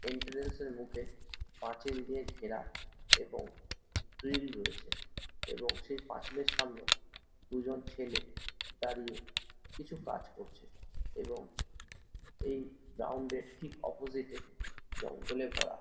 এন্ট্রান্সে -এর মুখে পাঁচিল দিয়ে ঘেরা এবং গ্রিল রয়েছে এবং সেই পাচিলের সামনে দুইজন ছেলে দাঁড়িয়ে কিছু কাজ করছে এবং এই গ্রাউন্ডে -এর ঠিক অপজিট -এ জঙ্গলে ভরা ।